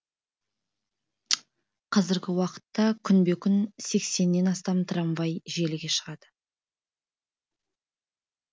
қазіргі уақытта күнбе күн сексеннен астам трамвай желіге шығады